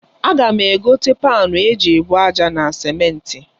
Aga m egote panu e ji ebu aja na simenti.